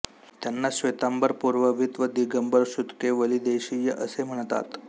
त्यांना श्वेतांबर पूर्ववित व दिगंबर श्रुतकेवलिदेशीय असे म्हणतात